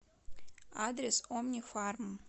адрес омнифарм